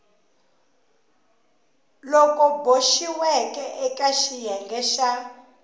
loku boxiweke eka xiyenge xa